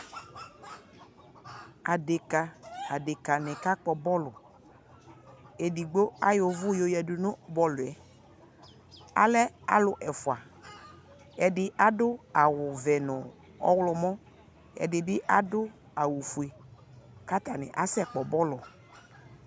Adeka, adeka ne ka kpɔ bɔluEdigbo ayɔ uvu yo yiadu no bɔluɛAlɛ alu ɛfuaƐde ado awuvɛ no ɔwlɔmɔƐde be ado awufue ka atane asɛ kpɔ bɔlu